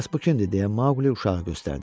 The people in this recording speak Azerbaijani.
Bəs bu kimdir deyə Maqli uşağı göstərdi.